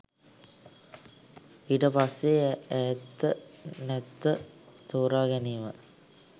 ඊට පස්සේ ඇත්ත නැත්ත තෝරාගැනීම